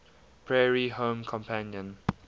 prairie home companion